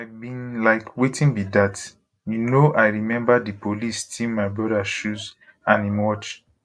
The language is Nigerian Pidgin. i bin like wetin be dat you know i remember di police steal my brother shoes and im watch